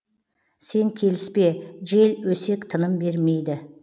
сен келіспе жел өсек тыным бермейді